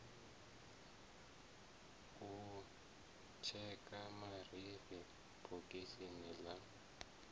u tsheka marifhi bogisini ḽa